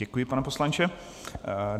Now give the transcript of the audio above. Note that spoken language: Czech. Děkuji, pane poslanče.